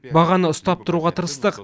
бағаны ұстап тұруға тырыстық